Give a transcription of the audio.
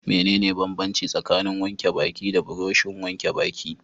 Mene ne banbanci tsakanin wanke baki da burushin wanke baki?